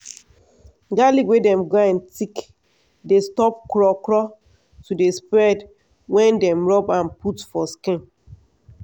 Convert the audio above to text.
garlic wey dem grind thick dey stop craw craw to dey spread wen dem rub am put for skin.